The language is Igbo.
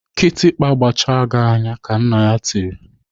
"Kịtịkpa gbachaa gị anya!" Ka nna ya tiri.